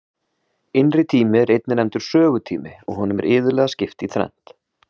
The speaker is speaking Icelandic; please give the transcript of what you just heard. Innri tími er einnig nefndur sögutími og honum er iðulega skipt í þrennt.